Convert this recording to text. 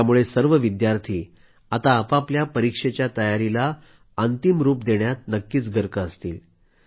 त्यामुळं सर्व विद्यार्थी आता आपआपल्या परीक्षेच्या तयारीला अंतिम रूप देण्यात नक्कीच गर्क असतील